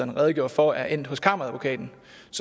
redegjorde for er endt hos kammeradvokaten